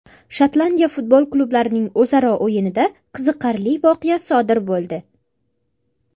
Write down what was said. Shotlandiya futbol klublarining o‘zaro o‘yinida qiziqarli voqea sodir bo‘ldi.